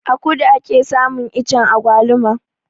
A kudu ake samun iccen agwaluma